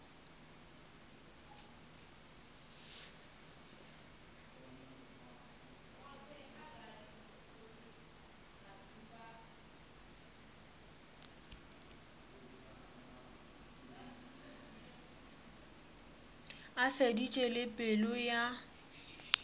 a feditše le pelo ya